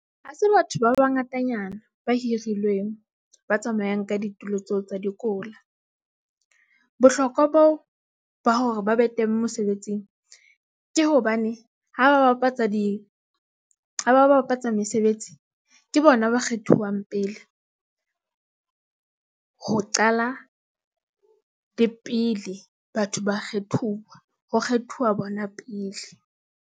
Ha se batho ba bangatanyana ba hirilweng, ba tsamayang ka ditulo tseo tsa dikola. Bohlokwa ba hore ba be teng mosebetsing ke hobane ha ba bapatsa mesebetsi. Ke bona ba kgethuwang pele ho qala le pele batho ba kgethuwa ho kgethuwa bona pele.